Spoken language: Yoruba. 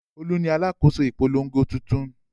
Olú ni alákòóso ìpolongo tuntun.